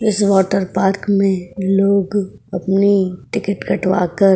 इस water park में लोग अपनी टिकट कटवा कर --